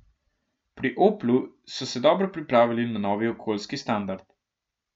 Pri Oplu so se dobro pripravili na novi okoljski standard.